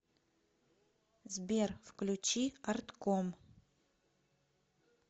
сбер включи артком